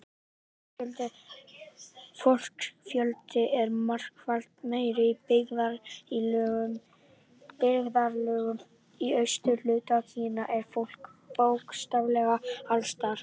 Fólksfjöldi er margfalt meiri Í byggðarlögum í austurhluta Kína er fólk bókstaflega alls staðar.